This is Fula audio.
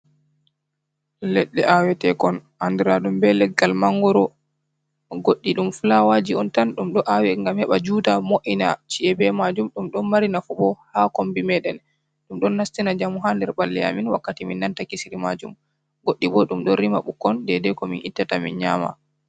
Leɗɗe awetekon andiraɗum be leggal mangoro. Goɗɗi ɗum fulawaji on tan ɗum ɗo awe ngam heɓa juuta mo'ina chi'e be majum. Ɗum ɗon mari nafu bo haa kombi meɗen, ɗum ɗon nastina njamu haa nder ɓalli amin wakkati min nanata kisiri majum. Goɗɗi bo ɗum ɗo rima ɓukkon dedei ko min ittata min nyama.